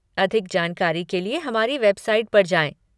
अधिक जानकारी के लिए हमारी वेबसाइट पर जाएँ।